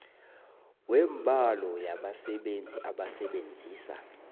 wembalo yabasebenzi abasebenzisa